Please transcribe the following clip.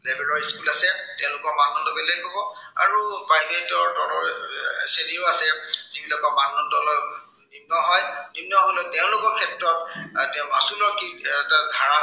বেলেগ বেলেগ school আছে। তেওঁলোকৰ মানদণ্ড বেলেগ হব। আৰু private ৰ তলৰ এৰ শ্ৰেণীও আছে, যি বিলাক মানদণ্ড নিম্ন হয়। নিম্ন হলেও তেওঁলোকৰ ক্ষেত্ৰত এৰ মাচুৰ যি ভাড়া